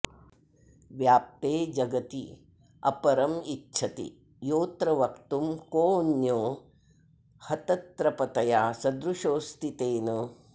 व्याप्ते जगत्यपरमिच्छति योऽत्र वक्तुं कोऽन्यो हतत्रपतया सदृशोऽस्ति तेन